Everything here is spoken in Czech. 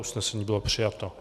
Usnesení bylo přijato.